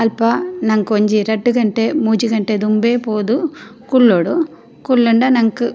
ಅಲ್ಪ ನಂಕ್ ಒಂಜಿ ರಡ್ಡ್ ಗಂಟೆ ಮೂಜಿ ಗಂಟೆ ದುಂಬೇ ಪೋದು ಕುಲ್ಲೊಡು ಕುಲ್ಲುಂಡ ನಂಕ್ --